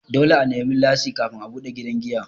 Dole a nemi lasin kafin a buɗe gidan giya.